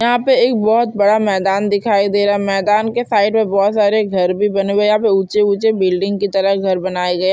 यहाँ पे एक बहुत बड़ा मैदान दिखाई दे रहा है मैदान के साइड मे बहुत सारे घर भी बने हुए है यहाँ पे ऊंचे ऊंचे बिल्डिंग की तरह घर बनाए गए है।